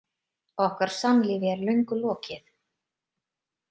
Okkar samlífi er löngu lokið.